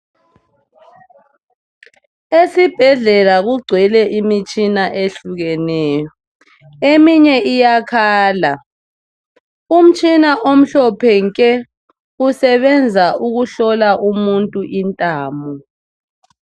Esibhedlela kugcwele imitshina ehlukeneyo eminye iyakhala umtshina omhlophe nke usebenza ukuhlola umuntu intamo